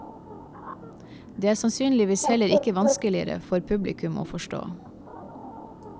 Det er sannsynligvis heller ikke vanskeligere for publikum å forstå.